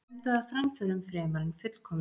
Stefndu að framförum fremur en fullkomnun.